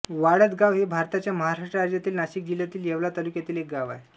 वाळदगाव हे भारताच्या महाराष्ट्र राज्यातील नाशिक जिल्ह्यातील येवला तालुक्यातील एक गाव आहे